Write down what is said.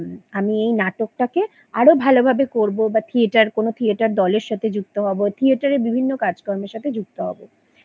আমি এই নাটকটাকে আরো ভালোভাবে করবো বা থিয়েটার কোনো থিয়েটার দলের সাথে যুক্ত হবো থিয়েটারের বিভিন্ন কাজকর্মের সাথে যুক্ত হবো